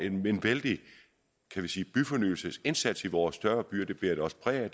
en vældig byfornyelsesindsats i vores større byer det bærer det også præg af